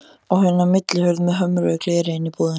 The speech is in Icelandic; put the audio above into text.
Á hina millihurð með hömruðu gleri inn í íbúðina.